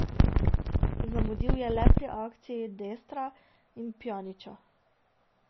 Zamudil je le pri akciji Destra in Pjanića.